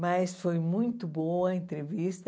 Mas foi muito boa a entrevista.